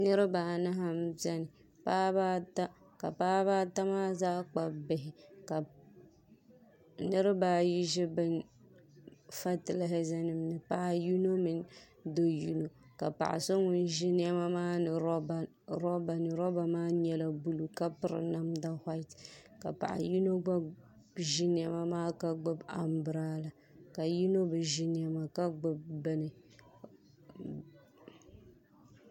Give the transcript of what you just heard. Niraba anahi n biɛni paɣaba ata ka paɣaba ata maa zaa kpabi bihi ka niraba ayi ʒi bini fatilɛza nim ni n paai yiŋa paɣa yino mini do yino ka paɣa so ŋun ʒi niɛma maa roba ni roba maa nyɛla buluu ka piri namda whait ka paɣa yino gba ʒi niɛma maa ka gbubi anbirala ka yino bi ʒi niɛma ka gbubi bini